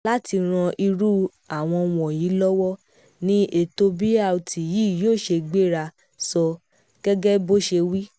láti ran irú àwọn wọ̀nyí lọ́wọ́ ni ètò brt yìí yóò ṣe gbéra sọ gẹ́gẹ́ bó ṣe wí